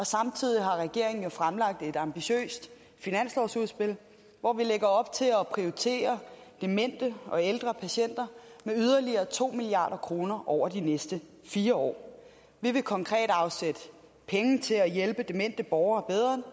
samtidig har regeringen jo fremlagt et ambitiøst finanslovsudspil hvor vi lægger op til at prioritere demente og ældre patienter med yderligere to milliard kroner over de næste fire år vi vil konkret afsætte penge til at hjælpe demente borgere bedre